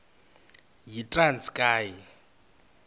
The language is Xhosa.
yitranskayi